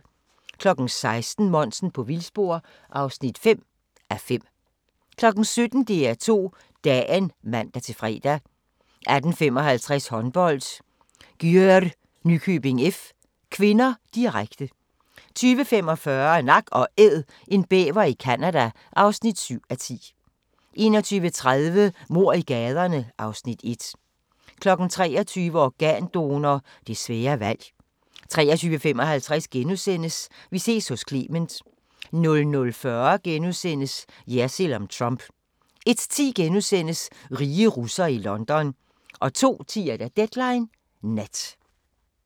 16:00: Monsen på vildspor (5:5) 17:00: DR2 Dagen (man-fre) 18:55: Håndbold: Györ-Nykøbing F. (k), direkte 20:45: Nak & Æd – en bæver i Canada (7:10) 21:30: Mord i gaderne (Afs. 1) 23:00: Organdonor – det svære valg 23:55: Vi ses hos Clement * 00:40: Jersild om Trump * 01:10: Rige russere i London * 02:10: Deadline Nat